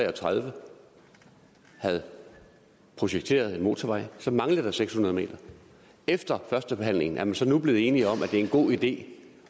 og tredive havde projekteret en motorvej så manglede der seks hundrede m efter førstebehandlingen er man så nu blevet enig om at det er en god idé